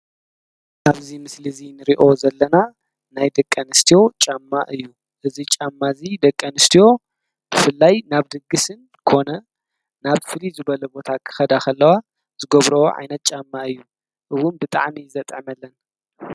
ኣብዚ ምስሊ እዚ ንሪኦ ዘለና ናይ ደቂኣንስትዮ ጫማ እዩ እዚ ጫማ እዚ ደቂ ኣንስትዮ ብፍላይ ናብ ድግስን ኮነ ናብ ፍሉይ ዝበለ ቦታ ክኸዳ ከለዋ ዝገብሮ ዓይነት ጫማ እዩ እዉን ብጣዕሚ እዩ ዘጥዕመለን።